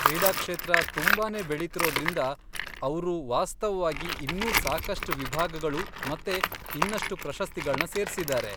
ಕ್ರೀಡಾಕ್ಷೇತ್ರ ತುಂಬಾನೇ ಬೆಳಿತಿರೋದ್ರಿಂದ ಅವ್ರು ವಾಸ್ತವವಾಗಿ ಇನ್ನೂ ಸಾಕಷ್ಟ್ ವಿಭಾಗಗಳು ಮತ್ತೆ ಇನ್ನಷ್ಟು ಪ್ರಶಸ್ತಿಗಳ್ನ ಸೇರ್ಸಿದ್ದಾರೆ.